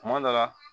Kuma dɔ la